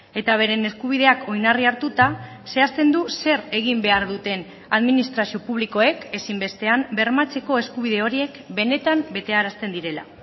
eta beren eskubideak oinarri hartuta zehazten du zer egin behar duten administrazio publikoek ezinbestean bermatzeko eskubide horiek benetan betearazten direla